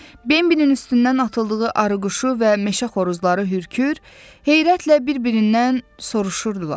Bembənin üstündən atıldığı arıquşu və meşə xoruzları hürkür, heyrətlə bir-birindən soruşurdular.